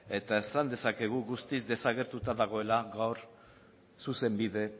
eta esan dezakegu guztiz desagertuta dagoela gaur zuzenbide